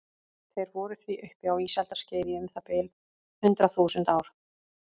Þeir voru því uppi á ísaldarskeiði í um það bil hundrað þúsund ár.